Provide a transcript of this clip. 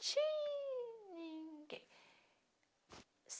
De ninguém.